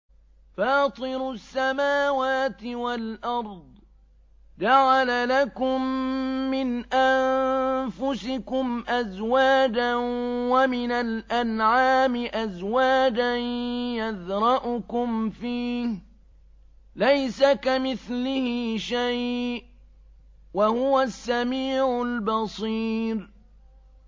فَاطِرُ السَّمَاوَاتِ وَالْأَرْضِ ۚ جَعَلَ لَكُم مِّنْ أَنفُسِكُمْ أَزْوَاجًا وَمِنَ الْأَنْعَامِ أَزْوَاجًا ۖ يَذْرَؤُكُمْ فِيهِ ۚ لَيْسَ كَمِثْلِهِ شَيْءٌ ۖ وَهُوَ السَّمِيعُ الْبَصِيرُ